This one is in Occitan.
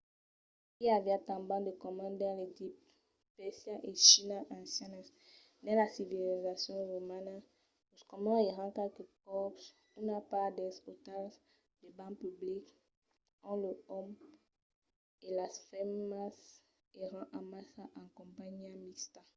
i aviá tanben de comuns dins l'egipte pèrsia e china ancianas. dins la civilizacion romana los comuns èran qualques còps una part dels ostals de banhs publics ont los òmes e las femnas èran amassa en companhiá mixta